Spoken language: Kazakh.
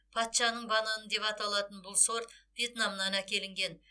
патшаның бананы деп аталатын бұл сорт вьетнамнан әкелінген